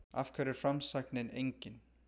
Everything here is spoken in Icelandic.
Af hverju er framsæknin engin?